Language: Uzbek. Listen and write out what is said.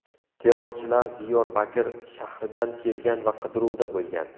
Terrorchilar Diyorbakir shahridan kelgan va qidiruvda bo‘lgan.